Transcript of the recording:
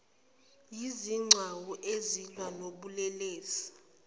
yezigcawu ezilwa nobulelesi